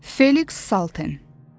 Feliks Salten.